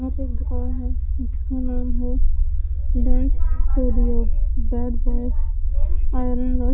यहां पे एक गोल हैं बाद बॉय है --